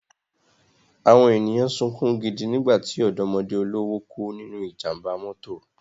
Àwọn ènìyàn sunkún gidi nígbà tí ọ̀dọ́mọdé olówó kú nínú ìjàmbá mọ́tò